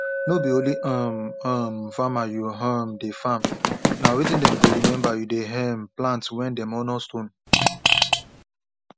no be only um famer you um de farm na wetin dem go remember you dey um plant when dem honor stone